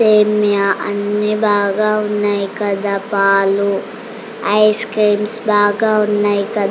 బాగా ఉన్నాయ్కదా పాలు ఐస్ క్రీమ్స్ బాగా ఉన్నాయి కదా.